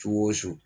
Su o su